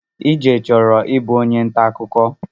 Ije chọrọ ịbụ onye ntaakụkọ